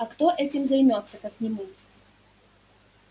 а кто этим займётся как не мы